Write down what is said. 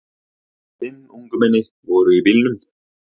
Fimm ungmenni voru í bílnum.